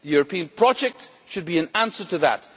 The European project should be an answer to that.